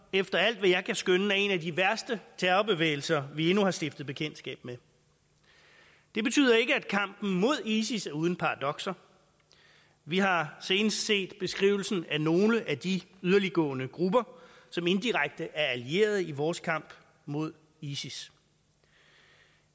efter alt hvad jeg kan skønne er en af de værste terrorbevægelser vi endnu har stiftet bekendtskab med det betyder ikke at kampen mod isis er uden paradokser vi har senest set beskrivelsen af nogle af de yderliggående grupper som indirekte er allieret i vores kamp mod isis